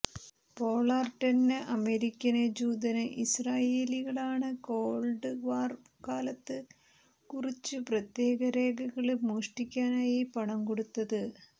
പോളാര്ടെന്ന American ജൂതന് ഇസ്രായേലികളാണ് cold war കാലത്ത് കുറച്ച് പ്രത്യേക രേഖകള് മോഷ്ടിക്കാനായി പണം കൊടുത്തത്